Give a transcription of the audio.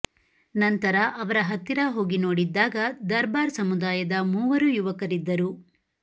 ನಂತರ ಅವರ ಹತ್ತಿರ ಹೋಗಿ ನೋಡಿದ್ದಾಗ ದರ್ಬಾರ್ ಸಮುದಾಯದ ಮೂವರು ಯುವಕರಿದ್ದರು